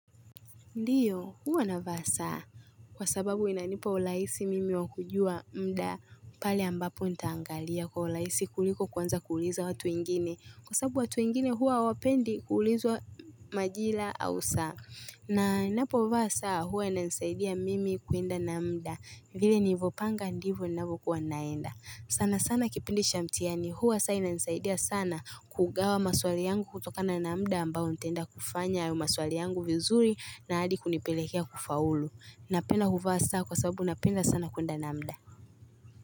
Ndiyo huwa navaa saa kwa sababu inanipa urahisi mimi wakujua muda pale ambapo nitaangalia kwa urahisi kuliko kuanza kuuliza watu wengine kwa sababu watu wengine huwa hawapendi kuulizwa majira au saa na ninapo vaa saa huwa inanisaidia mimi kuenda na muda vile nilivyopanga ndivyo ninavyokuwa naenda sana sana kipindi cha mtihani huwa saa inanisaidia sana kugawa maswali yangu kutokana na muda ambao nitaenda kufanya hayo maswali yangu vizuri na hadi kunipelekea kufaulu Napenda kuvaa saa kwa sababu napenda sana kuenda na muda.